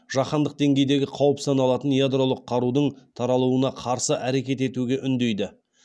жаһандық деңгейдегі қауіп саналатын ядролық қарудың таралуына қарсы әрекет етуге үндейді